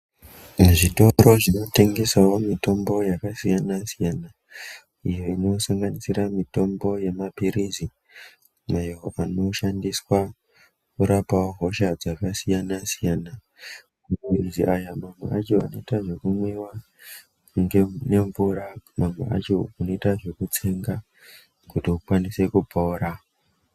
Zvitoro zvinotengesawo mitombo yakasiyana-siyana iyo inosanganisira mitombo yemaphirizi ayo anoshandiswawo kurapa hosha dzakasiyana-siyana maphirizi aya mamweni anoita zvekumwiwa nemvura mamweni acho unoita zvekutsengwa kuti ukwanise kupora.